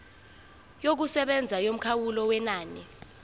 yokusebenza yomkhawulo wenani